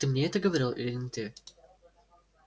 ты мне это говорил или не ты